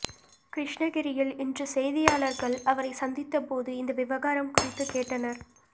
கிருஷ்ணகிரியில் இன்று செய்தியாளர்கள் அவரைச் சந்தித்தபோது இந்த விவகாரம் குறித்துக் கேட்டனர்